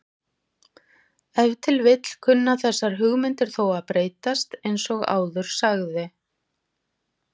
Ef til vill kunna þessar hugmyndir þó að breytast eins og áður sagði.